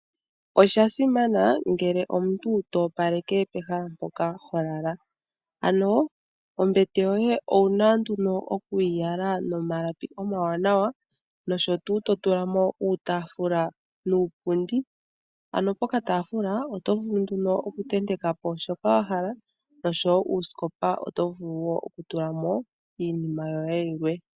Osha simana ngele omuntu to opaleka pehala mpoka holala, ano ombete yoye owuna nduno okuyi yala nomalapi omawanawa nosho tuu to tula mo uutaafula nuupundi, ano pokataafula oto vulu oku ntentekepo shoka wahala nosho woo uusikopa oto vulu oku tula mo iinima yoye yilwe.